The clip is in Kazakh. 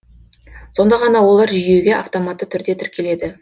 сонда ғана олар жүйеге автоматты түрде тіркеледі